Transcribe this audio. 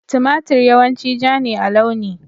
Tumatir yawanci ja ne a launi